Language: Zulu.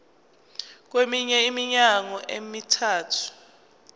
kweminye iminyaka emithathu